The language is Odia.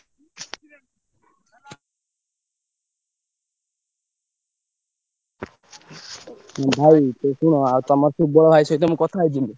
ଉଁ ଭାଇ ଶୁଣ ଆଉ ତମର ସୁବଳ ଭାଇ ସହିତ ମୁଁ କଥା ହେଇଯିବି।